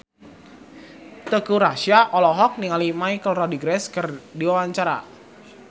Teuku Rassya olohok ningali Michelle Rodriguez keur diwawancara